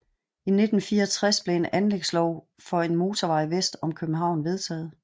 I 1964 blev en anlægslov for En motorvej vest om København vedtaget